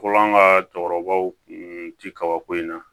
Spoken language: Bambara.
Fɔlɔ an ka cɛkɔrɔbaw kun ti kabako in na